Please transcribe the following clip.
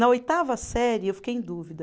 Na oitava série eu fiquei em dúvida.